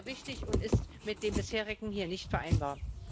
Das wäre wichtig und ist mit dem Bisherigen hier nicht vereinbar.